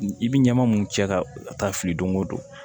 I bi ɲama mun cɛ ka taa fili don ko don